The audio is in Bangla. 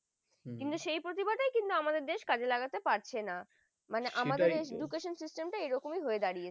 হম কিন্তু সেই প্রতিভাটি আমাদের দেশ কাজে লাগাতে পারছেন না সেটাই তো মানে আমাদের education system টা এরকমই হয়ে দাঁড়িয়েছে